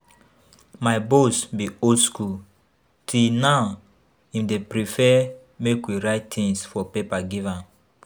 My boss be old school, till now im dey prefer make we write things for paper give am